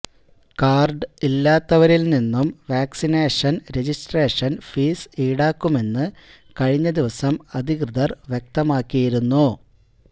card ഇല്ലാത്തവരില് നിന്നും vaccination registration fees ഈടാക്കുമെന്ന് കഴിഞ്ഞ ദിവസം അധികൃതര് വ്യക്തമാക്കിയിരുന്നു